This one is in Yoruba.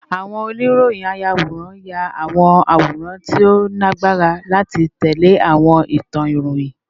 Awon oniroyinayaworan ya awọn aworan ti o lagbara lati tẹle awọn itan iroyin